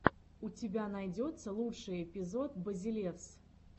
у тебя найдется лучший эпизод базелевс